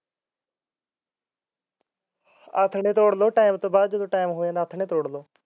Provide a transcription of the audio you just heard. ਨਾ ਥੱਲੇ ਤੋੜ ਲਓ ਆਥਣੇ time ਹੋਇਆ ਥੱਲੇ ਤੋੜ ਲਓ